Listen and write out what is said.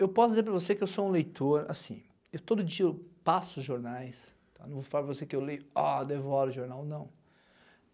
Eu posso dizer para você que eu sou um leitor, assim, eu todo dia passo jornais, não vou falar para você que eu leio ah, devoro o jornal, não.